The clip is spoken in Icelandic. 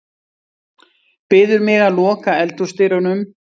Biður mig að loka eldhúsdyrunum.